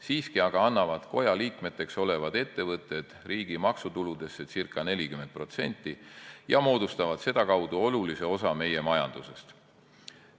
Siiski aga annavad koja liikmeteks olevad ettevõtted riigi maksutuludest ca 40% ja moodustavad sedakaudu olulise osa meie majandusest.